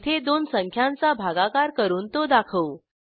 येथे दोन संख्यांचा भागाकार करून तो दाखवू